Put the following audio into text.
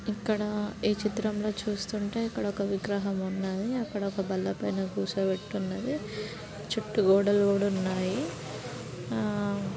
ఇక్కడ ఈ చిత్రంలో చూస్తుంటే ఇక్కడ ఒక విగ్రహం ఉన్నది. అక్కడ ఒక బండ్ల పైన కూర్చోబెట్టి ఉన్నది. చుట్టు గోడలు కూడా ఉన్నాయి. ఆ--